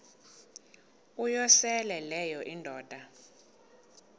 uyosele leyo indoda